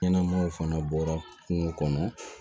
Ɲɛnamaw fana bɔra kungo kɔnɔ